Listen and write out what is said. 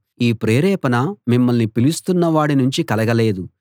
ఈ ప్రేరేపణ మిమ్మల్ని పిలుస్తున్న వాడి నుంచి కలగలేదు